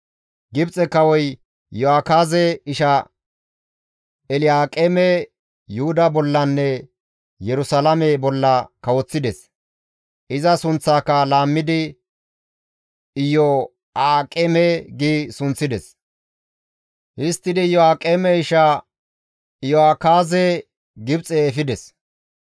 Gibxe kawoy Iyo7akaaze isha Elyaaqeeme Yuhuda bollanne Yerusalaame bolla kawoththides; iza sunththaaka laammidi Iyo7aaqeme gi sunththides; histtidi Iyo7aaqeme isha Iyo7akaaze Gibxe efides.